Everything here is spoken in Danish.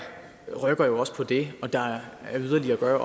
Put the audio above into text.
rykker jo også på det og der er yderligere at gøre